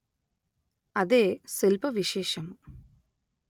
అదే శిల్ప విశేషము